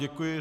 Děkuji.